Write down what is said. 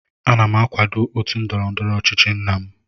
Ana m akwado otu ndọrọ ndọrọ ọchịchị nna m